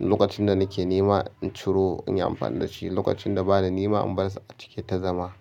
Lokacin da nake nema in ciro, in yi amfani da shi. Lokacin da ba na nema, in bar su a ciki ya ta zama.